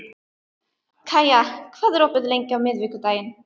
Kaía, hvað er opið lengi á miðvikudaginn?